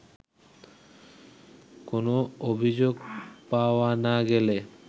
কোনো অভিযোগ পাওয়া না গেলে